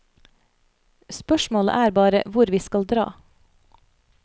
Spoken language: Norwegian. Spørsmålet er bare hvor vi skal dra.